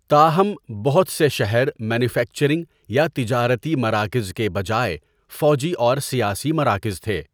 تاہم، بہت سے شہر مینوفیکچرنگ یا تجارتی مراکز کے بجائے فوجی اور سیاسی مراکز تھے۔